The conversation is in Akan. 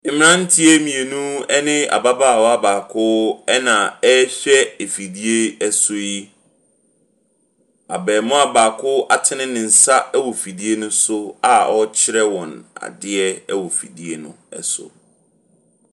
Mmeranteɛ mmienu ne ababaawa baako na wɔrehwɛ afidie so yi. Abarimaa baako atene ne nsa wɔ fidie no so a ɔrekyerɛ wɔn adeɛ wɔ fidie no so.